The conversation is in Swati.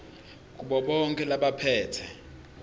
kubo bonkhe labaphetse